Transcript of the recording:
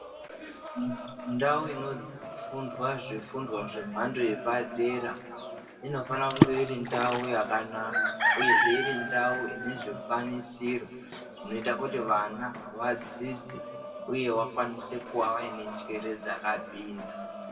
Ndau inofundwa zvifundwa zvemhando yepadera inofanira kunga iri ndau yakanaka, uyezve iri ndau ine zvikwanisiro zvinoita kuti vana vadzidze, uye vakwanise kuva vaine njere dzakapinza.